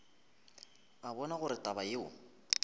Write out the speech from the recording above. a bona gore taba yeo